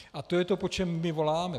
A to je to, po čem my voláme.